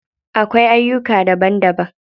Akwai aiyuka daban daban.